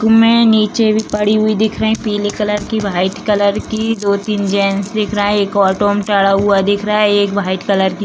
में निचे भी पड़ी हुई दिख रही पीले कलर की व्हाइट कलर की दो-तीन जेंट्स दिख रहे एक ऑटो में चढ़ा हुआ दिख रहा एक व्हाइट कलर की --